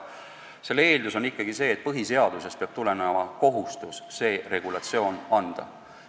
Eeldus on ikkagi see, et põhiseadusest tuleneb kohustus konkreetne regulatsioon anda.